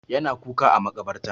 Ya na kuka a maƙabarta.